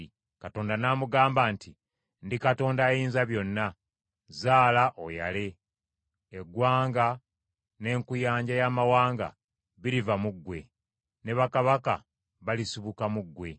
Katonda n’amugamba nti, “Ndi Katonda Ayinzabyonna: zaala oyale, eggwanga n’enkuyanja y’amawanga biriva mu ggwe, ne bakabaka balisibuka mu ggwe.